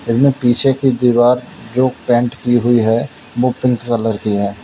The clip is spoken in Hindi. इनमे पीछे की दीवार जो पेंट की हुई है वो पिंक कलर की है।